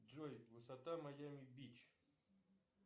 джой высота майами бич